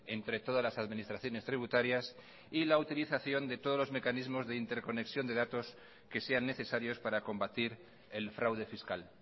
entre todas las administraciones tributarias y la utilización de todos los mecanismos de interconexión de datos que sean necesarios para combatir el fraude fiscal